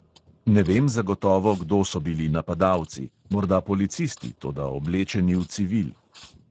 Ne vem zagotovo, kdo so bili napadalci, morda policisti, toda oblečeni v civil.